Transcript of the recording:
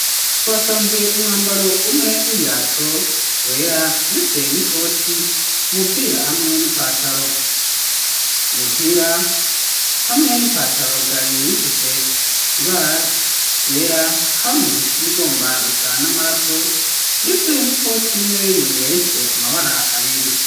Twasanze umwambaro umwe w'ibirato wera, ndetse n'ikoti, umupira hamwe n'ipataro; umupira hamwe n'ipataro vyari bifise ibara ryera, hamwe n'irigomba gusa n'amaraso, ndetse n'ikoti nayo nyene, yari ifise amabara abiri.